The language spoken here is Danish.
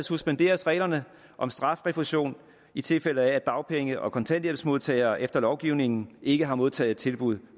suspenderes reglerne om strafrefusion i tilfælde af at dagpenge og kontanthjælpsmodtagere efter lovgivningen ikke har modtaget tilbud